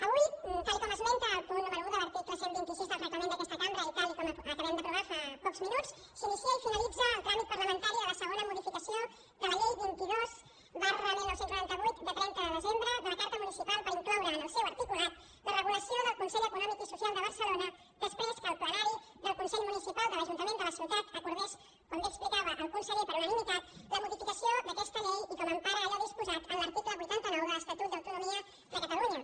avui tal com esmenta el punt número un de l’article cent i vint sis del reglament d’aquesta cambra i tal com acabem d’aprovar fa pocs minuts s’inicia i finalitza el tràmit parlamentari de la segona modificació de la llei vint dos dinou noranta vuit de trenta de desembre de la carta municipal per incloure en el seu articulat la regulació del consell econòmic i social de barcelona després que el plenari del consell municipal de l’ajuntament de la ciutat acordés com bé explicava el conseller per unanimi tat la modificació d’aquesta llei i com empara allò disposat en l’article vuitanta nou de l’estatut d’autonomia de catalunya